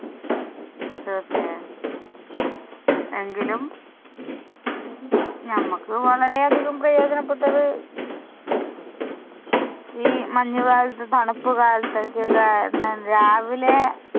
തീർച്ചയായും. എങ്കിലും നമുക്ക് വളരെ അധികം പ്രയോജനപ്പെട്ടത് ഈ മഞ്ഞു കാലത്തു തണുപ്പ് കാലത്ത് രാവിലെ